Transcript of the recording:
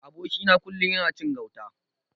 Aboki na kullun yana cin gauta.